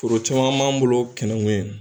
Foro caman b'an bolo Tɛnɛkun yen